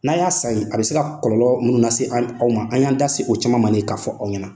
N'a y'a san yen , a bɛ se ka kɔlɔlɔ minnu lase an aw ma, an y'an da se o caman ma ni ye k'a fɔ aw ɲɛ na.